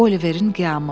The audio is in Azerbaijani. Oliverin qiyamı.